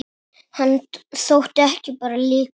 Hann þótti ekki bara líkur